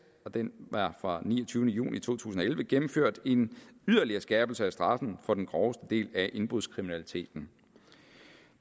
den er fra niogtyvende juni to tusind og elleve gennemført en yderligere skærpelse af straffen for den groveste del af indbrudskriminaliteten